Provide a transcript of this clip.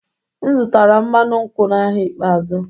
M zụtara mmanụ nkwụ n'ahịa ikpeazụ.